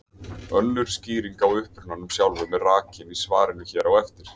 Önnur skýring á upprunanum sjálfum er rakin í svarinu hér á eftir.